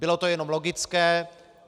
Bylo to jenom logické.